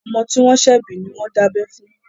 Ọmọ tí wọ́n ṣẹ̀ bí ni wọ́n dábẹ́ fún.